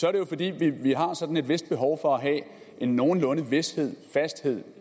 er det jo fordi vi har et vist behov for at have en nogenlunde vished fasthed